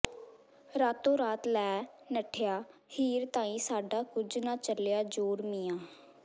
ਰਾਤੋ ਰਾਤ ਲੈ ਨੱਠਿਆ ਹੀਰ ਤਾਈਂ ਸਾਡਾ ਕੁੱਝ ਨਾ ਚਲਿਆ ਜ਼ੋਰ ਮੀਆਂ